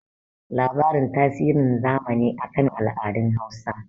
labarin tasirin zamani a kan al'adun Hausa